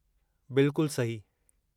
बिल्कुलु सही।